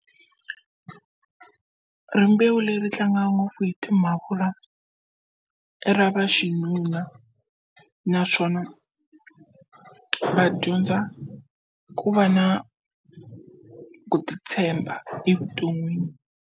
Rimbewu leri tlanga ngopfu hi timhavula i ra va xinuna naswona va dyondza ku va na ku titshemba evuton'wini.